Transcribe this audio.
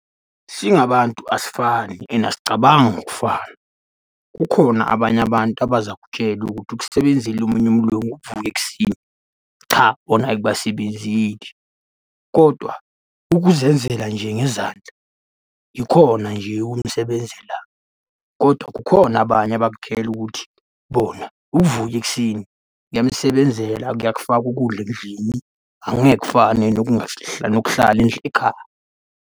Singabantu asifani and asicabangi ngokufana, kukhona abanye abantu abazakutshela ukuthi ukusebenzela omunye umlungu ukuvuka ekuseni, cha bona akubasebenzeli, kodwa ukuzenzela nje ngezandla yikhona nje okumsebenzelayo, kodwa kukhona abanye abakutshela ukuthi bona ukuvuka ekuseni kuyamsebenzela kuyakufaka ukudla endlini. Angeke kufane nokuhlala ekhaya.